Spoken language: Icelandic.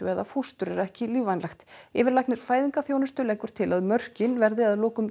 eða fóstur er ekki lífvænlegt yfirlæknir fæðingarþjónustu leggur til að mörkin verði að lokum